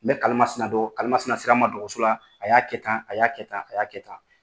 N bɛ kalimasina don kalimasina sera n ma dogotɔrɔɔso la y'a kɛ tan a y'a kɛ tan a y'a kɛ tan